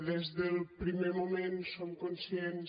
des del primer moment som conscients